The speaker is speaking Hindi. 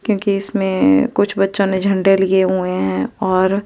क्योंकि इसमें कुछ बच्चों ने झंडे लिए हुए हैं और--